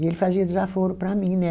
E ele fazia desaforo para mim, né?